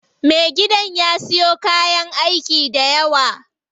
Me gidan ya siyo kayan aiki dayawa.